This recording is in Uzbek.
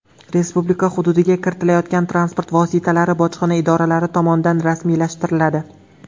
Respublika hududiga kiritilayotgan transport vositalari bojxona idoralari tomonidan rasmiylashtiriladi.